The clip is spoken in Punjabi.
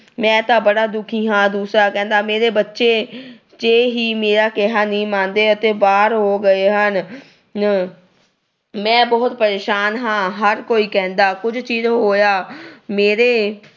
ਮੈਂ ਤਾਂ ਬੜਾ ਦੁਖੀ ਹਾਂ। ਦੂਸਰਾ ਕਹਿੰਦਾ ਮੇਰੇ ਬੱਚੇ ਹੀ ਮੇਰਾ ਕਿਹਾ ਨਹੀਂ ਮੰਨਦੇ ਅਤੇ ਬਾਹਰ ਹੋ ਗਏ ਹਨ ਅਹ ਹਨ। ਮੈਂ ਬਹੁਤ ਪਰੇਸ਼ਾਨ ਹਾਂ। ਹਰ ਕੋਈ ਕਹਿੰਦਾ। ਕੁਝ ਚਿਰ ਹੋਇਆ ਮੇਰੇ